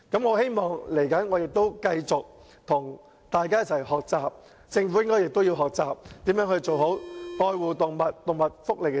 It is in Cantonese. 我希望未來能繼續與大家一起學習，而政府亦應學習如何做好有關愛護動物和動物福利的政策。